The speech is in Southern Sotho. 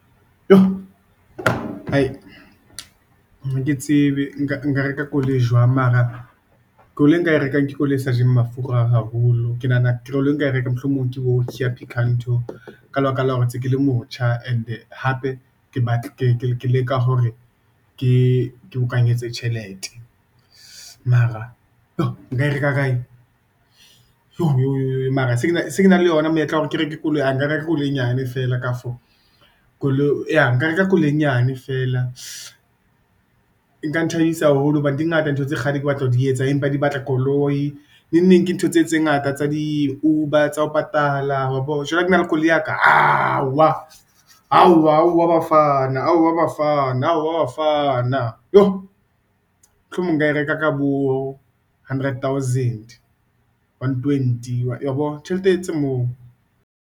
Ha ke tsebe nka reka koloi jwang, mara koloi eo nka e rekang, ke koloi e sa jeng mafura haholo. Ke nahana e nka e reka, mohlomong, ke bo Kia Picanto, ka lebaka la hore ntse kele motjha, and-e hape ke batle ke leka hore ke bokanyetsa tjhelete. Mara nka e reka kae, yo mara se kena le yona monyetla wa hore ke reke koloi, nka reka koloi e nyane feela kafo, koloi ya nka reka koloi e nyane fela. Nka nthabisa haholo hobane di ngata ntho tse kgale ke batla ho di etsa, empa di batla koloi, neng ke ntho tse ngata tsa di-Uber, tsa ho patala, wa bo. Jwale ke na le koloi ya ka, ao wa, ao wa Bafana tjoo. Mohlomong nka e reka ka bo hundred thousand, one, twenty, wa bo tjhelete tse moo.